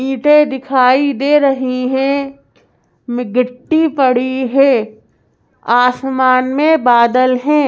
ईंटें दिखाई दे रहीं हैं मी गिट्टी पड़ी हैं आसमान में बादल हैं।